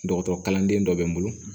Dɔgɔtɔrɔ kalanden dɔ bɛ n bolo